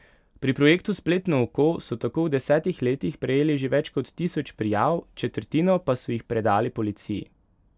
Pri projektu Spletno oko so tako v desetih letih prejeli že več kot tisoč prijav, četrtino pa so jih predali policiji.